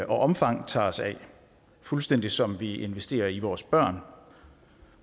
omfang tager os af fuldstændig som vi investerer i vores børn